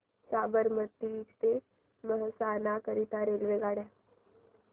साबरमती ते मेहसाणा करीता रेल्वेगाड्या